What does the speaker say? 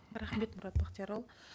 рахмет мұрат бақтиярұлы